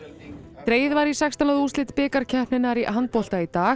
dregið var í sextán liða úrslit bikarkeppninnar í handbolta í dag